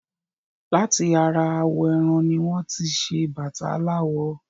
Láti ara awọ̀ ẹran ní wọ́n tí ṣé bàtà aláwọ̀